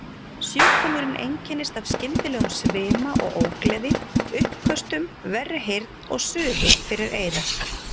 Sjúkdómurinn einkennist af skyndilegum svima og ógleði, uppköstum, verri heyrn og suði fyrir eyra.